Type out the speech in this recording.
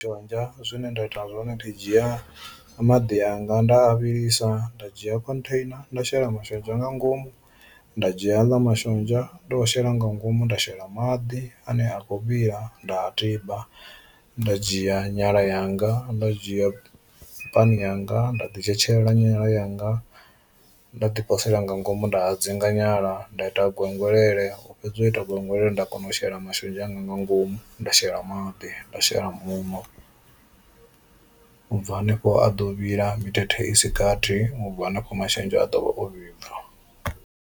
Mashonzha zwine nda ita zwone ndi dzhia maḓi anga nda a vhilisa nda dzhia khontheina nda shela mashonzha nga ngomu nda dzhia aḽa mashonzha ndo a shela nga ngomu nda shela maḓi ane a kho vhila nda tiba, nda dzhia nyala yanga nda dzhia pani yanga nda ḓi tshetshelela nyala yanga nda ḓi posela nga ngomu nda hadzinga nyala nda ita gwengwelele u fhedza u ita gwengwelele nda kona u shela mashonzha anga nga ngomu nda shela maḓi nda shela muṋo, ubva hanefho a ḓo vhila mithethe isi gathi ubva hanefho mashonzha a ḓo vha o vhibva.